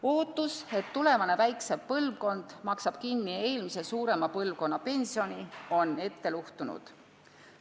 Ootus, et tulevane väiksem põlvkond maksab kinni eelmise suurema põlvkonna pensioni, on ette luhtunud.